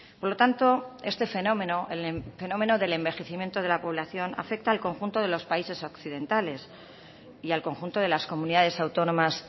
por lo tanto este fenómeno el fenómeno del envejecimiento de la población afecta al conjunto de los países occidentales y al conjunto de las comunidades autónomas